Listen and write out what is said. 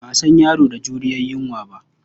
Ba a san yaro da juriyar yunwa ba.